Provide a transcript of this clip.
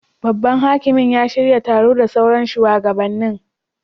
Babban hakimin ya shirya taro da sauran shuwagabannin.